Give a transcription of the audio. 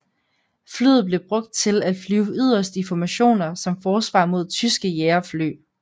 Flyet blev brugt til at flyve yderst i formationer som forsvar mod tyske jagerfly